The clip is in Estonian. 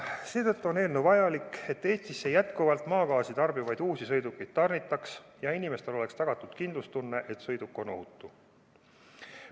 Seetõttu on eelnõu vajalik, et Eestisse jätkuvalt maagaasi tarbivaid uusi sõidukeid tarnitaks ja inimestel oleks tagatud kindlustunne, et sõiduk on ohutu.